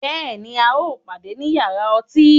Bẹ́ẹ̀ni, à o pàdẹ̀ ní yàrà ọ̀tí